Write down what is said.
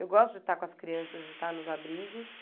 Eu gosto de estar com as crianças, de estar nos abrigos.